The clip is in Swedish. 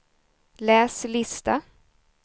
läs lista